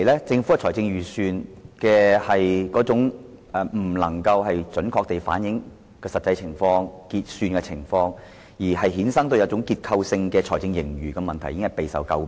政府的財政預算未能準確反映實際情況，因而衍生的結構性財政盈餘問題一直備受詬病。